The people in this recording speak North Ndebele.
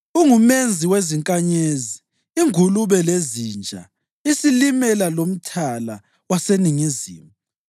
UnguMenzi wezinkanyezi iNgulube leZinja, iSilimela lomthala waseningizimu.